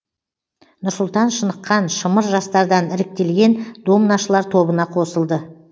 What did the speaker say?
нұрсұлтан шыныққан шымыр жастардан іріктелген домнашылар тобына қосылды